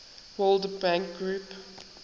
world bank group